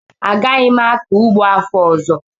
Agaghị m akọ ụgbọ afọ ọzọ